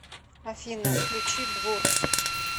афина включи блур